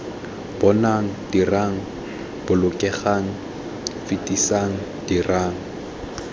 bonang dirang bolokelang fetisang dirang